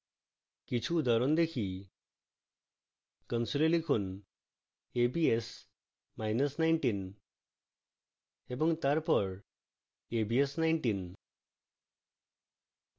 কিছু উদাহরণ দেখি console লিখুন a b s মাইনাস 19 এবং তারপর a b s 19